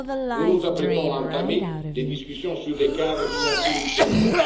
Nous nous apprêtons à entamer les discussions sur le cadre financier pluriannuel.